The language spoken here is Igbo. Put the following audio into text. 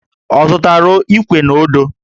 Ọ zụtara Íkwè na ọ́dụ́?